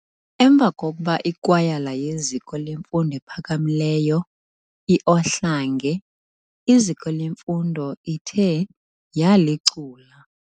emva kokuba ikwayala yeziko lemfundo ephakamileyo i-Ohlange iziko leMfundo ithe yalicula.